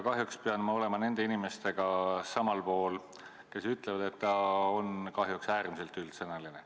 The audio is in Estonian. Kahjuks pean ma olema samal arvamusel nende inimestega, kes ütlevad, et see on kahjuks äärmiselt üldsõnaline.